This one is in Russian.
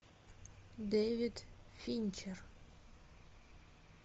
дэвид финчер